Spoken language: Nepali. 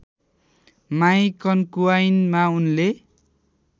माई कन्कुवाइनमा उनले